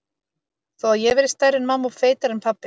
Þó að ég verði stærri en mamma og feitari en pabbi.